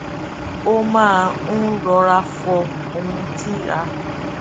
ó máa n rọra fọ ohun tí a